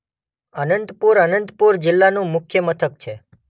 અનંતપુર અનંતપુર જિલ્લાનું મુખ્ય મથક છે.